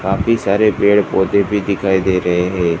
काफी सारे पेड़ पौधे भी दिखाई दे रहे है।